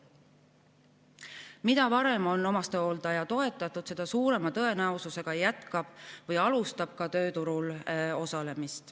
Mida varem on omastehooldaja toetatud, seda suurema tõenäosusega jätkab või alustab ta tööturul osalemist.